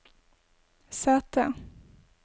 sete